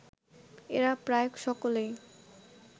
এরা প্রায় সকলেই